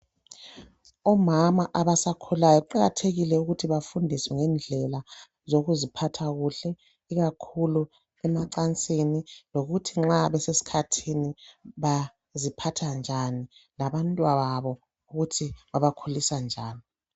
Omama abasakhulayo kuqakathekile ukuthi bafundiswe ngendlela zokuziphatha kuhle, ikakhulu emacansini lokuthi nxa besesikhathini baziphatha njani labantwababo ukuthi babakhulisa njani.